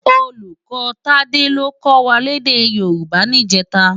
Ólúkò Tade ló kò wá lèdè Yoruba nijètå